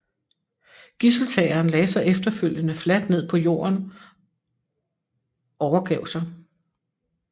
Gidseltageren lagde sig efterfølgende fladt ned på jorden overgav sig